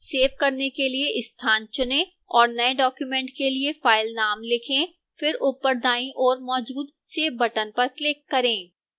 save करने के लिए स्थान चुनें और नए document के लिए फ़ाइल नाम लिखें फिर ऊपर दाईं ओर मौजूद save बटन पर क्लिक करें